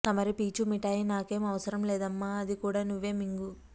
తమరి పీచు మిఠాయి నాకేం అవసరం లేదమ్మా అది కూడా నువ్వే మింగు